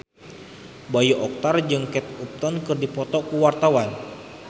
Bayu Octara jeung Kate Upton keur dipoto ku wartawan